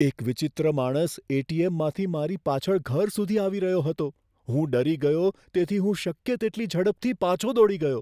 એક વિચિત્ર માણસ એટીએમમાંથી મારી પાછળ ઘર સુધી આવી રહ્યો હતો. હું ડરી ગયો તેથી હું શક્ય તેટલી ઝડપથી પાછો દોડી ગયો.